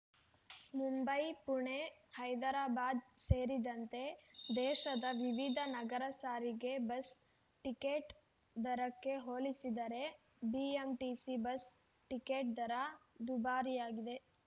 ಮುಂಬೈ ಪುಣೆ ಹೈದರಾಬಾದ್‌ ಸೇರಿದಂತೆ ದೇಶದ ವಿವಿಧ ನಗರ ಸಾರಿಗೆ ಬಸ್‌ ಟಿಕೆಟ್‌ ದರಕ್ಕೆ ಹೋಲಿಸಿದರೆ ಬಿಎಂಟಿಸಿ ಬಸ್‌ ಟಿಕೆಟ್‌ ದರ ದುಬಾರಿಯಾಗಿದೆ